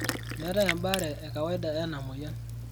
Meeetai embaare e kawaida ena moyian?